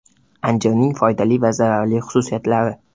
Anjirning foydali va zararli xususiyatlari.